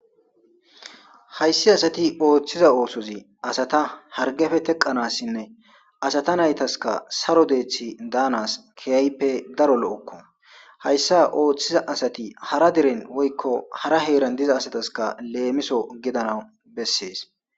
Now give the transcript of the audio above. hayissi asati oththiza oththoyi asata harggeppe teqqanasinne asata nayitas saro deththi danasi kehippe daro lo'oko hayssa oththiza asati hara deren woyikko hara heran dizza asatas lemisso gidanaw besses.